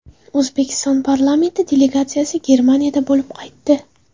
O‘zbekiston parlamenti delegatsiyasi Germaniyada bo‘lib qaytdi.